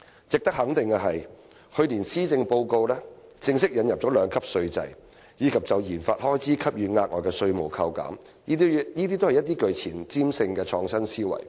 "值得肯定的是，去年的施政報告正式引入利得稅兩級制，以及就研發開支給予額外的稅務扣減，這些都是具前瞻性的創新思維。